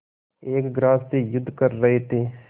एक ग्रास से युद्ध कर रहे थे